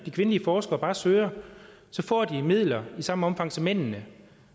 kvindelige forskere bare søger får de midler i samme omfang som mændene